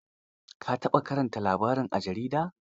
Ka taɓa karanta labari a jarida?